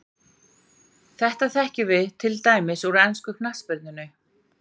Þetta þekkjum við til dæmis úr ensku knattspyrnunni.